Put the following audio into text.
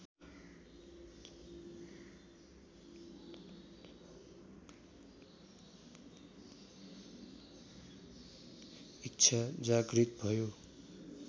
इच्छा जागृत भयो